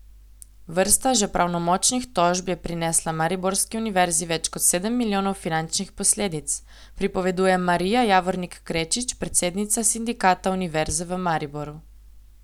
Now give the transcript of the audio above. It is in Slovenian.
Vrsta že pravnomočnih tožb je prinesla mariborski univerzi več kot sedem milijonov finančnih posledic, pripoveduje Marija Javornik Krečič, predsednica Sindikata Univerze v Mariboru.